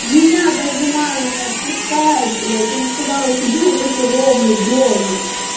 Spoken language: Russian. меня даже мама не отпускает блять она сказала сиди на жопе ровно дома